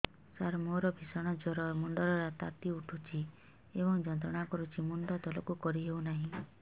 ସାର ମୋର ଭୀଷଣ ଜ୍ଵର ମୁଣ୍ଡ ର ତାତି ଉଠୁଛି ଏବଂ ଯନ୍ତ୍ରଣା କରୁଛି ମୁଣ୍ଡ ତଳକୁ କରି ହେଉନାହିଁ